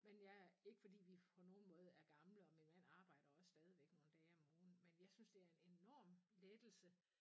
Men ja ikke fordi vi på nogen måde er gamle og min mand arbejder også stadigvæk nogle dage om ugen men jeg synes det er en enorm lettelse